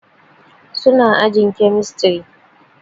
Su na ajin kemistri